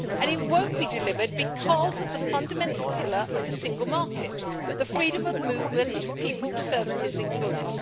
They will not be delivered because of the fundamental pillar of the single market the freedom of movement, people, services and goods.